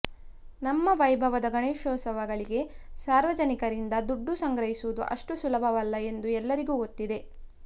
ನಮ್ಮ ವೈಭವದ ಗಣೇಶೋತ್ಸವಗಳಿಗೆ ಸಾರ್ವಜನಿಕರಿಂದ ದುಡ್ಡು ಸಂಗ್ರಹಿಸುವುದು ಅಷ್ಟು ಸುಲಭವಲ್ಲ ಎಂದು ಎಲ್ಲರಿಗೂ ಗೊತ್ತಿದೆ